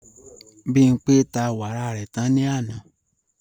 Bimpé ta wàrà rẹ̀ tán ní àná